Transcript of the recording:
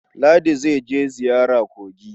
Ladi za je ziyara kogi.